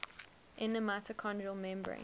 inner mitochondrial membrane